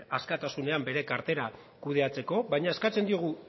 askatasunean bere kartera kudeatzeko baina eskatzen diogu